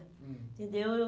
Hum. Entendeu? Eu